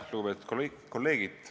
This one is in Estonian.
Lugupeetud kolleegid!